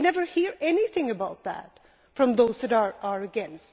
We never hear anything about that from those that are against.